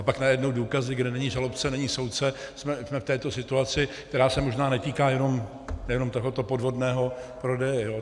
A pak najednou důkazy, kde není žalobce, není soudce, jsme v této situaci, která se možná netýká jenom tohoto podvodného prodeje.